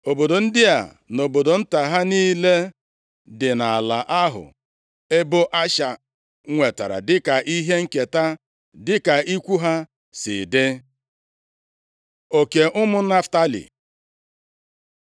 Obodo ndị a na obodo nta ha niile dị nʼala ahụ ebo Asha nwetara dịka ihe nketa, dịka ikwu ha si dị. Oke ụmụ Naftalị